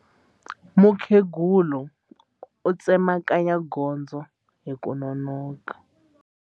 Mukhegula u tsemakanya gondzo hi ku nonoka.